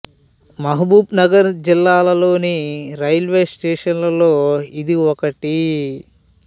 మహబూబ్ నగర్ జిల్లా లోని railway station లలో ఇది ఒకటి